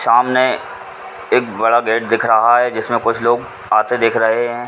सामने एक बड़ा बेड दिख रहा है जिस में कुछ लोग आते दिख रहे हैं।